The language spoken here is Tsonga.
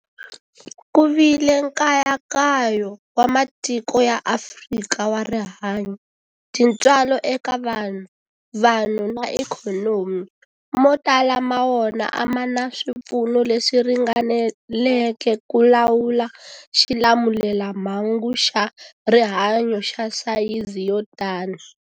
Ku vile nkayakayo wa matiko ya Afrika wa rihanyu, tintswalo eka vanhu, vanhu na ikhonomi, mo tala ma wona a ma na swipfuno leswi ringaneleke ku lawula xilamulelamhangu xa rihanyu xa sayizi yo tani.